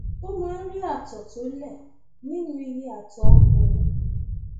a máa ń rí ààtọ tó lẹ nínú iye àtọ ọkùnrin